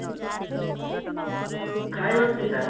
hy Arpita